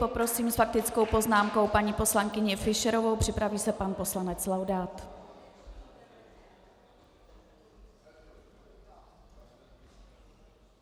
Poprosím s faktickou poznámkou paní poslankyni Fischerovou, připraví se pan poslanec Laudát.